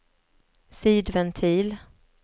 sidventil